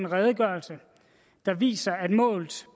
redegørelse der viser at målt